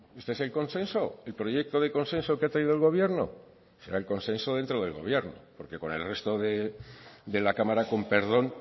este es el consenso el proyecto de consenso que ha traído el gobierno será el consenso dentro del gobierno porque con el resto de la cámara con perdón